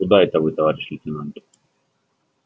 куда это вы товарищ лейтенант